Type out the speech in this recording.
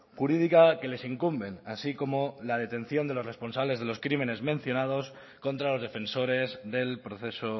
jurídica que les incumben así como la detención de los responsables de los crímenes mencionados contra los defensores del proceso